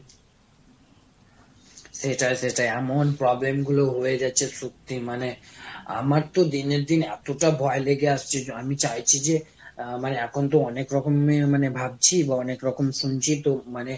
সেটাই সেটাই এমন problem গুলো হয়ে যাচ্ছে সত্যি মানে, আমার তো দিনের দিন এতটা ভয় লেগে আসছে আমি চাইছি যে, আহ মানে এখন তো অনেক রকমের মানে ভাবছি বা অনেক রকম শুনছি তো মানে,